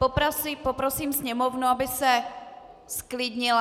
Poprosím sněmovnu, aby se zklidnila.